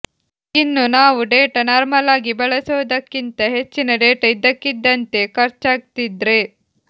ಇನ್ನು ನಾವು ಡೇಟಾ ನಾರ್ಮಲ್ಲಾಗಿ ಬಳಸೋದಕ್ಕಿಂತಾ ಹೆಚ್ಚಿನ ಡೇಟಾ ಇದ್ದಕ್ಕಿಂದ್ದಂತೆ ಖರ್ಚಾಗ್ತಿದ್ರೆ